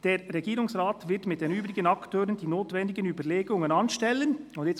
«Der Regierungsrat wird mit den übrigen Akteuren die notwendigen Überlegungen anstellen ...».